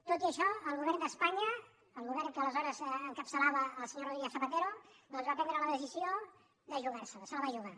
tot i això el govern d’espanya el govern que aleshores encapçalava el senyor rodríguez zapatero doncs va prendre la decisió de jugar se la se la va jugar